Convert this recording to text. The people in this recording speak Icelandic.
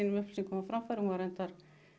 upplýsingum á framfæri hún var reyndar